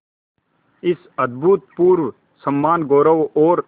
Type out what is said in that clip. इस अभूतपूर्व सम्मानगौरव और